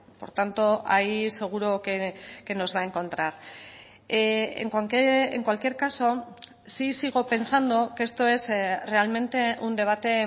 por tanto ahí seguro que nos va a encontrar en cualquier caso sí sigo pensando que esto es realmente un debate